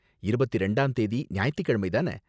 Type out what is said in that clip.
இருபத்தி இரண்டாம் தேதி ஞாயித்துக்கிழமை தான